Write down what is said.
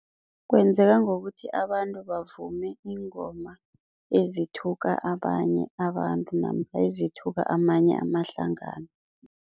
Kwenzeka ngokuthi abantu bavume iingoma ezithuthuke abanye abantu namkha ezithuthuke amanye amahlangano.